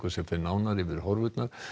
fer nánar yfir horfurnar